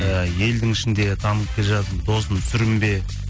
і елдің ішінде танып келе жатырмын досым сүрінбе